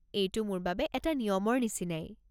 এইটো মোৰ বাবে এটা নিয়মৰ নিচিনাই।